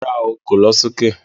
Rárá,o kò lọ sí òkè